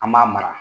An b'a mara